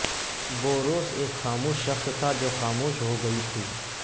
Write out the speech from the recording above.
بوروس ایک خاموش شخص تھا جو خاموش ہو گئی تھی